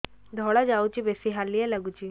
ଧଳା ଯାଉଛି ବେଶି ହାଲିଆ ଲାଗୁଚି